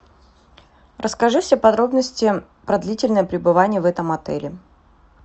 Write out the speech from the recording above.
расскажи все подробности про длительное пребывание в этом отеле